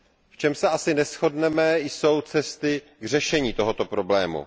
V čem se asi neshodneme, jsou cesty k řešení tohoto problému.